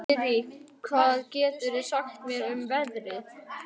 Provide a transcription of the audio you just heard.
Sirrí, hvað geturðu sagt mér um veðrið?